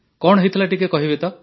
କଣ ହୋଇଥିଲା ଟିକେ କହିବେ କି